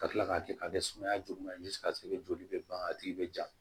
Ka kila k'a kɛ ka kɛ sumaya juguman ye ni sigasɛgɛ joli bɛ ban a tigi bɛ ja